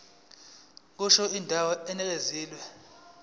kusho indawo enikezwe